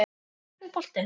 Hvert fer boltinn?